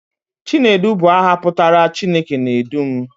Chinedu bụ aha pụtara 'Chineke na-edu m'